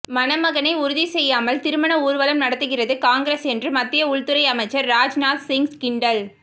மணமகனை உறுதி செய்யாமல் திருமண ஊர்வலம் நடத்துகிறது காங்கிரஸ் என்று மத்திய உள்துறை அமைச்சர் ராஜ்நாத் சிங் கிண்டல்